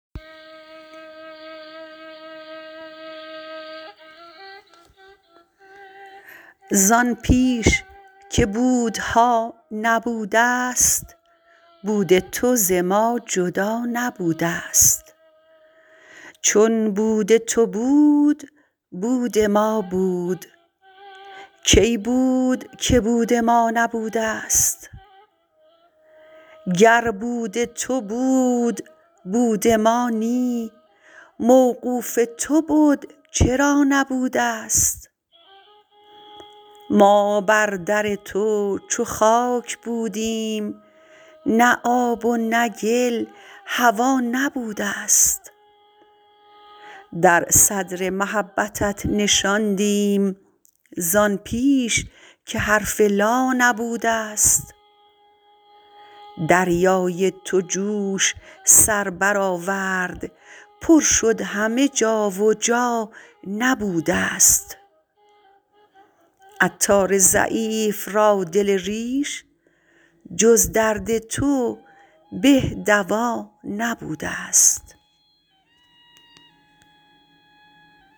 زان پیش که بودها نبودست بود تو ز ما جدا نبودست چون بود تو بود بود ما بود کی بود که بود ما نبودست گر بود تو بود بود ما نی موقوف تو بد چرا نبودست ما بر در تو چو خاک بودیم نه آب و نه گل هوا نبودست در صدر محبتت نشاندیم زان پیش که حرف لا نبودست دریای تو جوش سر برآورد پر شد همه جا و جا نبودست عطار ضعیف را دل ریش جز درد تو به دوا نبودست